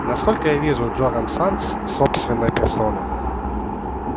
насколько я вижу джоран сатт собственной персоной